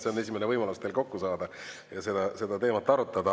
See on esimene võimalus teil kokku saada ja seda teemat arutada.